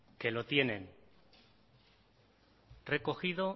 que lo tienen recogido